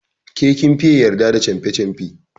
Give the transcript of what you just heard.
Ke kin fiye yarda da canfe canfe.